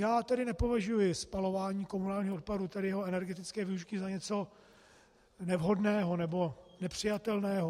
Já tedy nepovažuji spalování komunálního odpadu, tedy jeho energetické využití, za něco nevhodného nebo nepřijatelného.